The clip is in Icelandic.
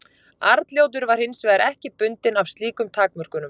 Arnljótur var hins vegar ekki bundinn af slíkum takmörkunum.